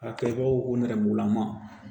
A kɛ baw nɛrɛmugulama